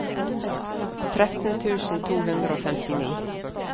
tretten tusen to hundre og femtini